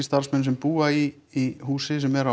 starfsmenn sem búa í húsi sem er